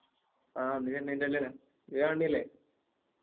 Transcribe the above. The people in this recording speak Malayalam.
ആ ഇന്ന് ചെന്നൈൻറെ കളിയാണ് നീ കാണണില്ലേ